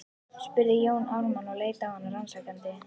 spurði Jón Ármann og leit á hana rannsakandi.